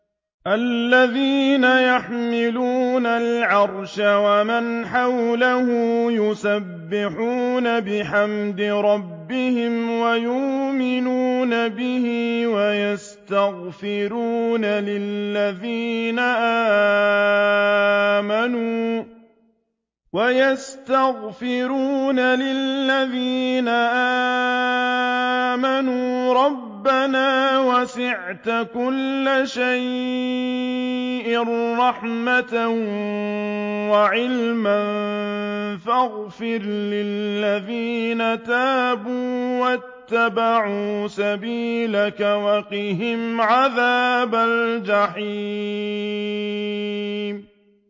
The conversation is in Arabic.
الَّذِينَ يَحْمِلُونَ الْعَرْشَ وَمَنْ حَوْلَهُ يُسَبِّحُونَ بِحَمْدِ رَبِّهِمْ وَيُؤْمِنُونَ بِهِ وَيَسْتَغْفِرُونَ لِلَّذِينَ آمَنُوا رَبَّنَا وَسِعْتَ كُلَّ شَيْءٍ رَّحْمَةً وَعِلْمًا فَاغْفِرْ لِلَّذِينَ تَابُوا وَاتَّبَعُوا سَبِيلَكَ وَقِهِمْ عَذَابَ الْجَحِيمِ